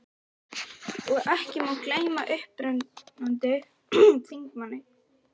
Og ekki má gleyma upprennandi þingmanni